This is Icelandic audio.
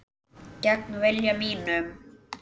Gegn vilja mínum.